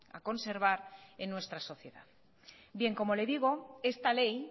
a conservar en nuestra sociedad bien como le digo esta ley